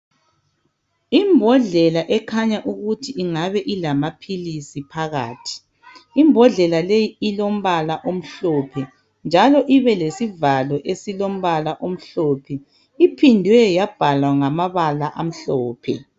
Imbhodlela ekhanya ukuthi ingabe ilamaphilisi phakathi. Imbhodlela leyi ilombala omhlophe, njalo ibe lesivalo esilombala omhlophe. Iphindwe yabhalwa ngamabala amhlophe.